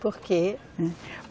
Por quê?